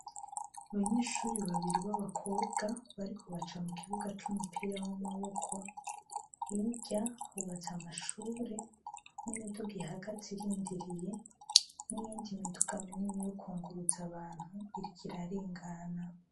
Abanyeshure babiri babakobwa bariko baca hagati mukibuga cumupira wamaboko hirya hubatse amashure nimiduga ihagaze irindiriye niyindi miduga minini yo kungutsa abantu iriko irarengana